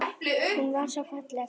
Hún var svo falleg.